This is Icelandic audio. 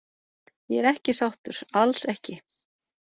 Ég er ekki sáttur, alls ekki.